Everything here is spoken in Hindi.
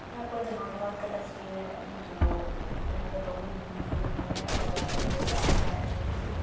यहाँ कोई जहानाबाद का तस्वीर है जो उम्म यहाँ पे बहुत भीड़-भाड़ है और बहुत सारे लोग आ जा रहे हैं।